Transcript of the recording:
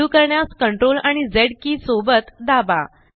undo करण्यास CTRL आणि Z के सोबत दाबा